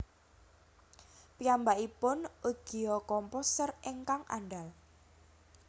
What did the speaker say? Piyambakipun ugia komposer ingkang andal